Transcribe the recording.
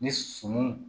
Ni suman